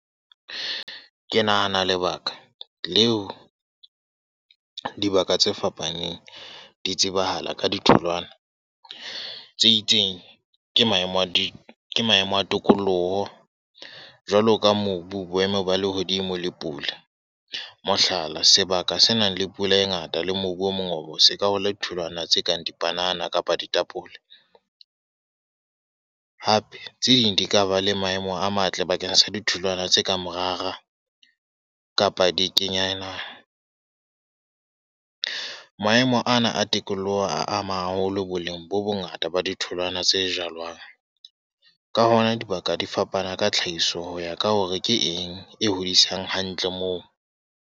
Ke nahana lebaka leo dibaka tse fapaneng di tsebahala ka ditholwana tse itseng, ke maemo a ke ke maemo a tokoloho. Jwalo ka mobu, boemo ba lehodimo le pula. Mohlala, sebaka se nang le pula e ngata le mobu o mongobo, se ka hola ditholwana tse kang dipanana kapa ditapole. Hape tse ding di ka ba le maemo a matle bakeng sa ditholwana tse kang morara, kapa dikenyana. Maemo ana a tikoloho a ama haholo boleng bo bongata ba ditholwana tse jalwang. Ka hona dibaka di fapana ka tlhahiso ho ya ka hore ke eng e hodisang hantle moo.